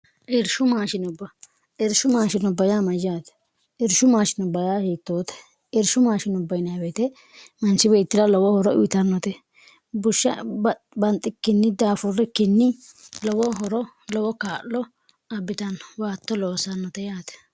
irshu maashinubba irshu maashino bya mayyaate irshu mashiob hiittoote irshu mashiw manchi bitira lowo horo uyitannote bushsha banxikkinni daafurri kinni lowo horo lowo kaa'lo abbitanno waatto loosannote yaate